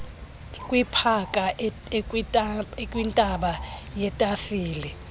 kwipaka ekwintaba yetafile